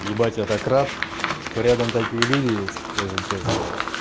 ебать я так рад что рядом такие люди есть если честно